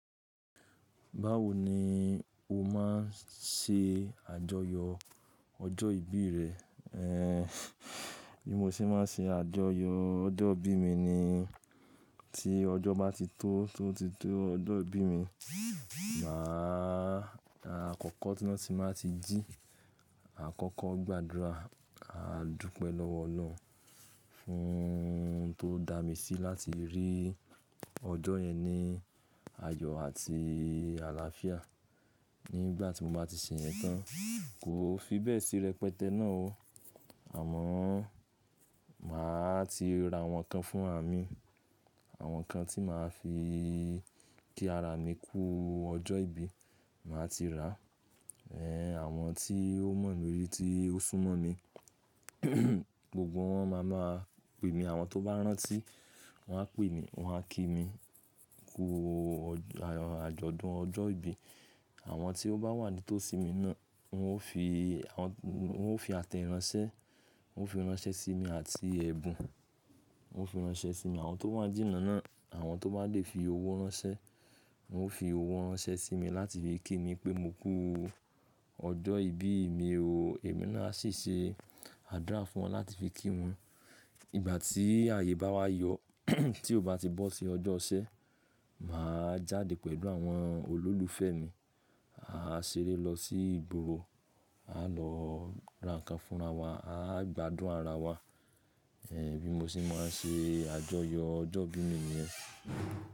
Báwo ni o máa ń ṣe àjọyọ̀ ọjọ́ ìbí rẹ? Ehn, bí mo ṣe máa ń ṣe àjọyọ̀ ọjọ́ ìbí mi ni tí ọjọ́ bá ti tó, tó ti tó ọjọ́ ìbí mi, mà á, àkọ́kọ́ tiba tí mà á ti jí àkọ́kọ́ gbàdúrà, máa dúpẹ́ lọ́wọ́ Ọlọ́run fún tó dá mi sí láti rí ọjọ́ yẹn ní ayọ̀ àti àlàáfíà. Nígbà tí mo bá ti ṣe yẹn tán, kò fi bẹ́ẹ̀ sí rẹpẹtẹ náà o. Àmọ́ mà á ti ra àwọn nǹkan fúnra mì, àwọn nǹkan tí mà á fi kí ara mi kú ọjọ́ ìbí, mà á ti rà á. Ehn, àwọn tí ó mọ̀ mí rí tí ó súnmọ́ mi, gbogbo wọn máa máa pè mí, àwọn tó bá rántí wọ́n á pè mí, wọ́n á kí mi kú àjọ̀dún ọjọ́ ìbí. Àwọn tí ó bá wà ní tòsí mi náà, wọn ó fi, àwọn, wọn ó fi àtẹ iransẹ́, wọn ó fi iransẹ́ sí mi àti ẹ̀bùn, wọn ó fi iransẹ́ sí mi. Àwọn tó wà jínà náà, àwọn tó bá lè fi owó ránṣẹ́, wọn ó fi owó ránṣẹ́ sí mi láti fi kí mi pé mo kú ọjọ́ ìbí mi o. Èmi náà sì ṣe àdúrà fún wọn láti fi kí wọn. Ìgbà tí ààyè bá wá yọ, tí ó bá ti bọ́ sí ọjọ́ isẹ̀, mà á jáde pẹ̀lú àwọn olólùfẹ́ mi. A á ṣeré lọ sí ìgboro, a á lọ ra nǹkan fúnra wa, a á gbádùn ara wa. Ehn, bímọ ṣi máa ń ṣe àjọyọ̀ ọjọ́ ìbí mi ni yẹ́n.